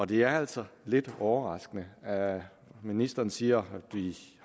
det er altså lidt overraskende ministeren siger